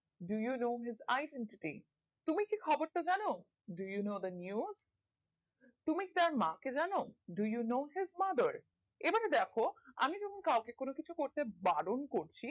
do you know is identity তুমি কি খবর টা জানো do you know the news তুমি কি তার মা কে জানো do you know his mother এবারে দেখো আমি যদি কাউকে কোনো কিছু করতে বারণ করছি